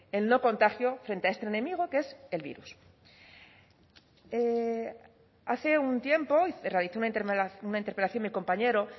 el no contagio frente a este enemigo que es el virus hace un tiempo realizó una interpelación mi compañero